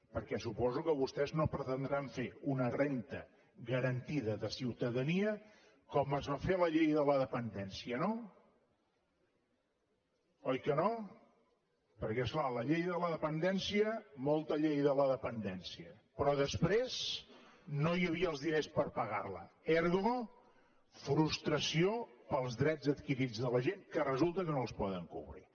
perquè suposo que vostès no deuen pretendre fer una renda garantida de ciutadania com es va fer la llei de la dependència no oi que no perquè és clar amb la llei de la dependència molta llei de la dependència però després no hi havia els diners per pagar la ergo frustració pels drets adquirits de la gent que resulta que no es poden cobrir